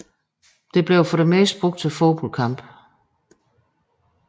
Det blev for det meste brugt til fodboldkampe